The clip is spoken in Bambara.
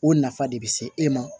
O nafa de be se e ma